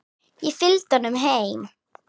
Ég fylgdi honum heim.